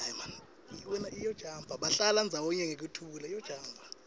bahlala ndzawonye ngekuthula